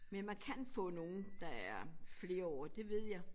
Men man kan få nogle der er flerårige det ved jeg